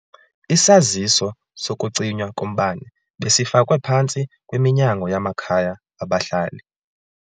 Isaziso sokucinywa kombane besifakwe phantsi kweminyango yamakhaya abahlali.